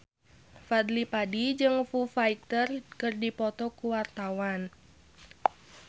Fadly Padi jeung Foo Fighter keur dipoto ku wartawan